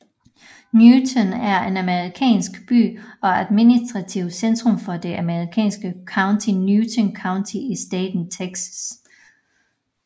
Newton er en amerikansk by og administrativt centrum for det amerikanske county Newton County i staten Texas